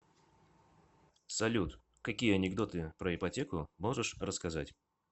салют какие анекдоты про ипотеку можешь рассказать